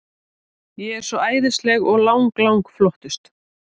Ég er svo æðisleg og lang, lang flottust.